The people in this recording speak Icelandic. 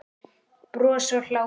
Bros og hlátur.